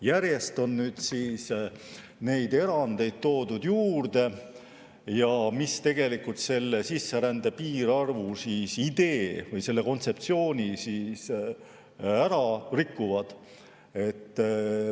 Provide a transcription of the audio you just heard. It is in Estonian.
Järjest on nüüd toodud juurde erandeid, mis sisserände piirarvu idee või selle kontseptsiooni ära rikuvad.